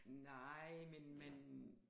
Nej men men